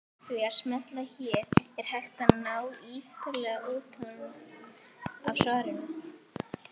Með því að smella hér er hægt að nálgast ítarlegri útgáfu af svarinu.